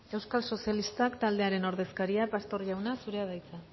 euskal sozialistak taldearen ordezkaria pastor jauna zurea da hitza